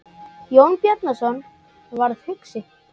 Jón Bjarnason varð hugsi.